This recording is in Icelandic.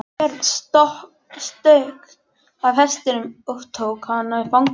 Björn stökk af hestinum og tók hana í fangið.